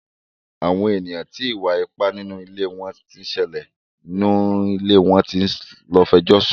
Àwọn èèyàn ti ìwà ipá nínú ilé tí ń ṣẹlẹ̀ ni ilẹ̀ wọn tí ń lọ fẹjọ́ sùn.